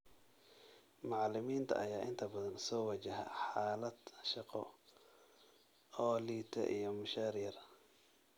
Macalimiinta ayaa inta badan soo wajaha xaalad shaqo oo liidata iyo mushaar yar.